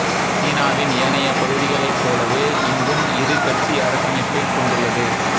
சீனாவின் ஏனைய பகுதிகளைப்போலவே இங்கும் இரு கட்சி அரசமைப்பைக் கொண்டுள்ளது